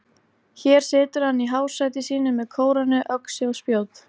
Hér situr hann í hásæti sínu með kórónu, öxi og spjót.